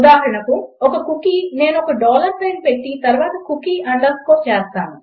ఉదాహరణకు ఒక కుకీ నేను ఒక డాలర్ సైన్ పెట్టి తర్వాత కుకీ అండర్స్కోర్ చేస్తాను